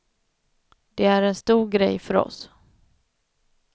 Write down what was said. Det är en stor grej för oss.